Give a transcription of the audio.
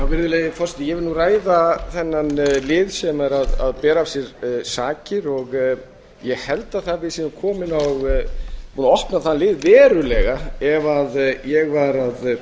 virðulegi forseti ég vil ræða þennan lið sem er að bera af sér sakir og ég held að við séum búin að opna þann lið verulega ef ég var að